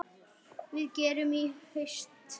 Hvað gerist í haust?